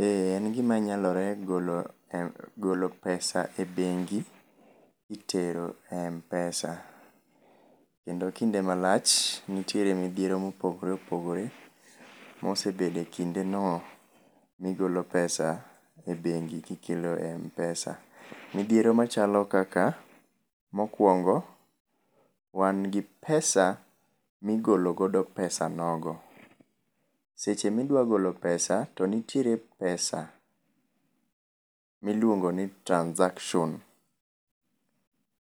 Eeeh, en gimanyalore golo, golo pesa e bengi kitero e Mpesa. Kendo kinde malach nitiere midhiero ma kinde ma opogor opogore mosebedo e kinde no migolo pesa e bengi kitero e Mpesa. midhiero machalo mokuongo wan gi pesa migolo go pesa nogo. Seche midwa golo pesa, to nitiere pesa miluongo ni transaction